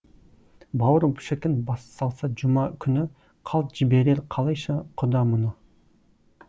бауыр шіркін бассалса жұма күні қалт жіберер қалайша құда мұны